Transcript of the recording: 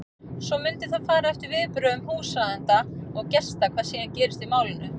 Svo mundi það fara eftir viðbrögðum húsráðenda og gesta hvað síðan gerist í málinu.